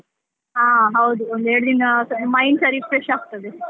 ಹಾ ಹೌದು, ಒಂದು ಎರಡು ದಿನ mind ಸ refresh ಆಗ್ತದೆ.